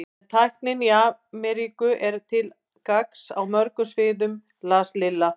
En tæknin í Ameríku er til gagns á mörgum sviðum las Lilla.